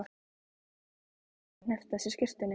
Lilja þagði og hneppti að sér skyrtunni.